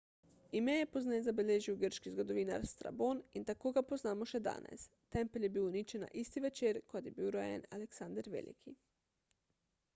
ime je pozneje zabeležil grški zgodovinar strabon in tako ga poznamo še danes tempelj je bil uničen na isti večer kot je bil rojen aleksander veliki